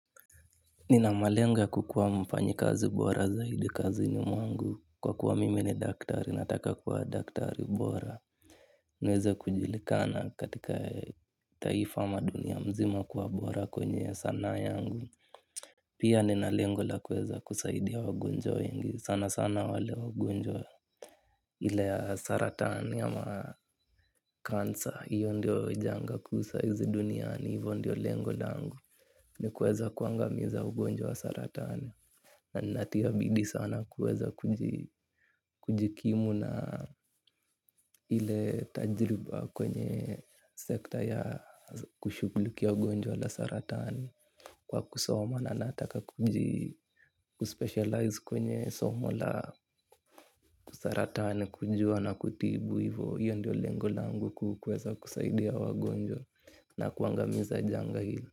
Nina malengo ya kukuwa mfanyikazi bora zaidi kazi ni mungu kwa kuwa mimi ni daktari nataka kuwa daktari bora. Niweze kujulikana katika taifa madunia mzima kuwa bora kwenye sanaa yangu. Pia nina lengo la kuweza kusaidia wagonjwa wengi sana sana wale wagonjwa. Ile ya saratani ama cancer hiyo ndio janga kuu sahizi duniani hivyo ndio lengo langu. Ni kuweza kuangamiza ugonjwa wa saratani. Na natia bidii sana kuweza kujikimu na ile tajriba kwenye sekta ya kushughulikia ugonjwa la saratani. Kwa kusoma na nataka kuji kuspecialize kwenye somo la saratani. Kujua na kutibu hivo hiyo ndio lengo langu kuu kuweza kusaidia wagonjwa na kuangamiza janga hilo.